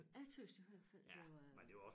Jeg tøs jo hvert fald det var